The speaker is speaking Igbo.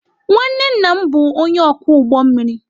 nwanne nna m bụ onye ọkwọ ụgbọ mmiri.